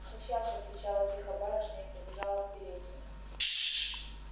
сейчас отвечала тихо барышня и побежала в переднюю